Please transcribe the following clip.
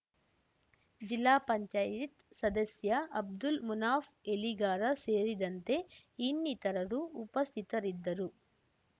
ಜಿಲ್ಲಾಪಂಚಾಯತ್ಸದಸ್ಯ ಅಬ್ದುಲ್ ಮುನಾಫ ಎಲಿಗಾರ ಸೇರಿದಂತೆ ಇನ್ನಿತರರು ಉಪಸ್ಥಿತರಿದ್ದರು